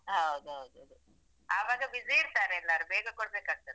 ಹೌದೌದು ಆವಾಗ busy ಇರ್ತಾರೆ ಎಲ್ಲರು ಬೇಗ ಕೊಡಬೇಕಾಗ್ತದೆ.